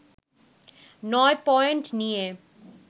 নয় পয়েন্ট নিয়ে